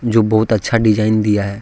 जो बहुत अच्छा डिजाइन दिया है।